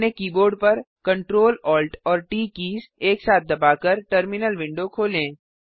अपने कीबोर्ड पर Ctrl Alt और ट कीज़ एक साथ दबाकर टर्मिनल विंडो खोलें